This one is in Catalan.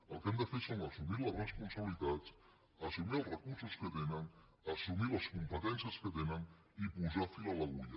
el que han de fer és assumir les responsabilitats assumir els recursos que tenen assumir les competències que tenen i posar fil a l’agulla